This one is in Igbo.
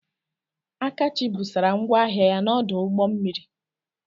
Akachi busara ngwa ahịa ya n'ọdụ ụgbọ mmiri.